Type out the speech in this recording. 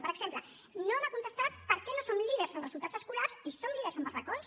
per exemple no m’ha contestat per què no som líders en resultats escolars i som líders en barracons